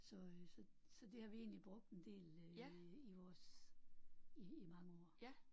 Så øh så så det har vi egentlig brugt en del øh i vores i i mange år